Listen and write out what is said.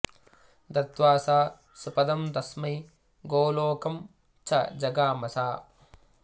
दत्वा सा स्वपदं तस्मै गोलोकं च जगाम सा